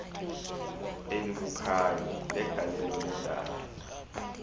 elibukhali legalelo lendalo